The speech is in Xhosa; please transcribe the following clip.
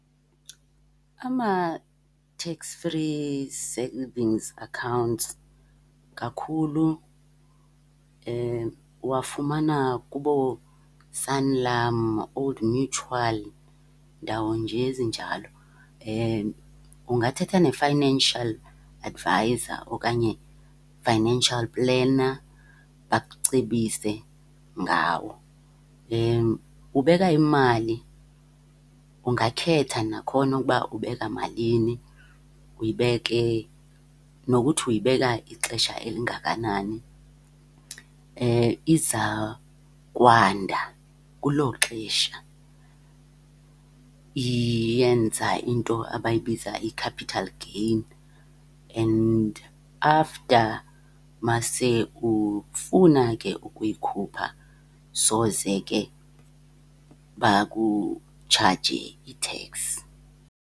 Ama-tax-free savings accounts kakhulu uwafumana kubooSanlam, Old Mutual, ndawo nje ezinjalo. Ungathetha ne-financial adviser okanye financial planner bakucebise ngawo. Ubeka imali, ungakhetha nakhona ukuba ubeka malini, uyibeke nokuthi uyibeka ixesha elingakanani. Iza kwanda kulo xesha, iyenza into abayibiza i-capital gain and after uma se ufuna ke ukuyikhupha soze ke bakutshaje iteks.